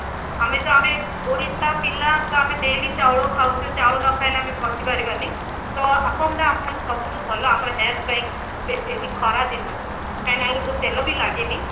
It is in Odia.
ଆମେ ତ ଆମେ ଓଡିଶା ପିଲା ତ ଆମେ daily ଚାଉଳ ଖାଉଛେ ଚାଉଳ ନ ଖାଇଲେ ଆମେ ବଞ୍ଚି ପରିବାନି ତ ଅପମ ନା ଆମ ପାଇଁ ସବୁଠୁ ଭଲ ଆମ health ପାଇଁ specially ଖରାଦିନ ରେ କାହିଁକି ନା ଯ ଦିହରେ ତେଲ ବି ଲାଗେନି